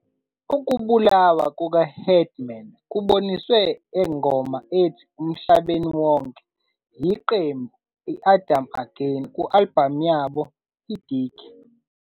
Ukubulawa kuka-Headman kuboniswe engoma ethi "Emhlabeni Wonke" yiqembu Adam Again ku-album yabo Dig.